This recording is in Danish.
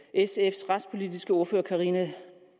at sfs retspolitiske ordfører fru karina